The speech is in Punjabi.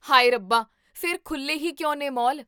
ਹਾਏ ਰੱਬਾ! ਫ਼ਿਰ ਖੁੱਲੇ ਹੀ ਕਿਉਂ ਨੇ ਮਾਲ?